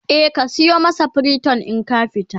e ka sayo masa priton in ka fita